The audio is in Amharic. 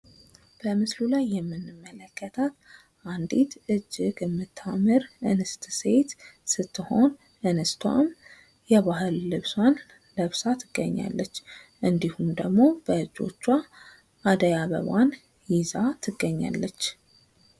በምስሉ ላይ የምንመለከታት አንድት እጅግ የምታምር እንስት ሴት ስትሆን እንስቷም የባህል ልብሷን ለብሳ ትገኛለች። እንድሁም በእጇ የአደይ አበባን ይዛ ትገኛለች።